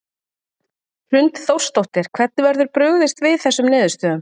Hrund Þórsdóttir: Hvernig verður brugðist við þessum niðurstöðum?